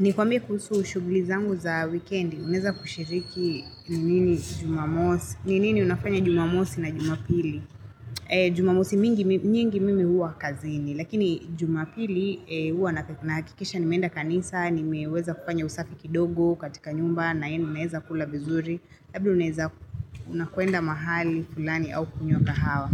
Ni kwambie kuhusu shughuli zangu za weekend, unaweza kushiriki ni nini jumamosi, ni nini unafanya jumamosi na jumapili. Jumamosi mingi mimi huwa kazini, lakini jumapili huwa nahakikisha nimeenda kanisa, nimeweza kufanya usafi kidogo katika nyumba, na yenu unaeza kula vizuri. Labda unaweza unakwenda mahali fulani au kunywa kahawa.